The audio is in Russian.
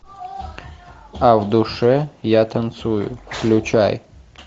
а в душе я танцую включай